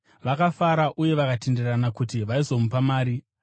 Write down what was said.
Vakafara uye vakatenderana kuti vaizomupa mari.